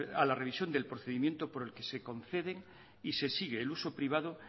a la revisión del procedimiento por el que se concede y se sigue el uso privado